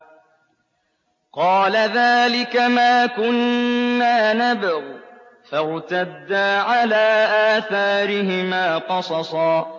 قَالَ ذَٰلِكَ مَا كُنَّا نَبْغِ ۚ فَارْتَدَّا عَلَىٰ آثَارِهِمَا قَصَصًا